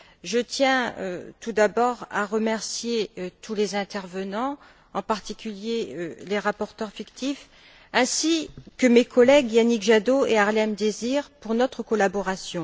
Je tiens tout d'abord à remercier tous les intervenants, en particulier les rapporteurs fictifs, ainsi que mes collègues Yannick Jadot et Harlem Désir pour notre collaboration.